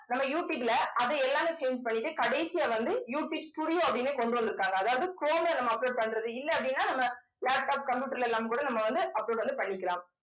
நம்ம யூடியூப்ல அது எல்லாமே change பண்ணிட்டு கடைசியா வந்து யூடியூப் studio அப்படின்னு கொண்டு வந்திருக்காங்க அதாவது குரோம்ல நம்ம upload பண்றது இல்லை அப்படின்னா நம்ம லேப்டாப் கம்ப்யூட்டர்ல எல்லாம் கூட நம்ம வந்து upload வந்து பண்ணிக்கலாம்